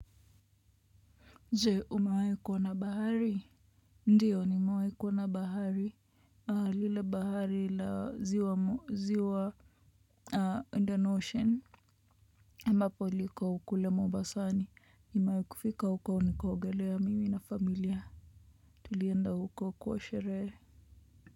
Je umewahi kuona bahari? Ndiyo nimewahi kuona bahari. Ile bahari la ziwa Indian Ocean ambapo liko kule mombasani nimewai kufika huko nikaogelea mimi na familia tulienda huko kwa sherehe.